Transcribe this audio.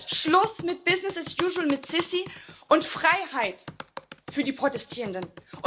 Das heißt Schluss mit business as usual mit Al Sisi und Freiheit für die Protestierenden.